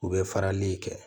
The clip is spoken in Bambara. U bɛ farali in kɛ